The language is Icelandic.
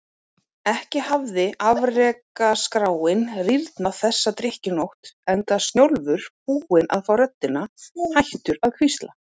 Ekki hafði afrekaskráin rýrnað þessa drykkjunótt, enda Snjólfur búinn að fá röddina, hættur að hvísla.